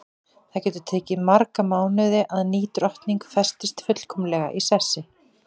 Það getur tekið marga mánuði að ný drottning festist fullkomlega í sessi.